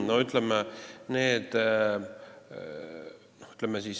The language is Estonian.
Aitäh!